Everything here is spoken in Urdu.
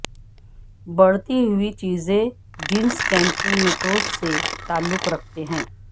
بڑھتی ہوئی چیزیں جینس کیمپونٹوس سے تعلق رکھتے ہیں